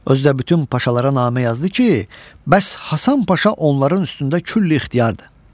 Özü də bütün paşalara namə yazdı ki, bəs Hasan Paşa onların üstündə küllü ixtiyardır.